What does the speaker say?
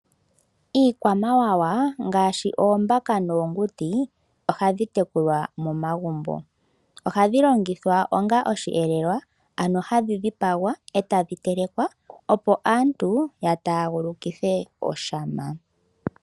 Iikwamawawa ngaashi oombaka noonguti, ohadhi tekulwa momagumbo. Ohadhi longithwa onga osheelelwa, ano ohadhi dhipagwa, e tadhi telekwa opo aantu ya taagulukithe oshama.